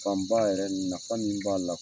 Fan ba yɛrɛ nafa min b'a la.